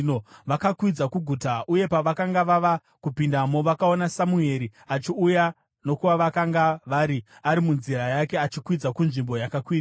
Vakakwidza kuguta, uye pavakanga vava kupindamo vakaona Samueri achiuya nokwavakanga vari, ari munzira yake achikwidza kunzvimbo yakakwirira.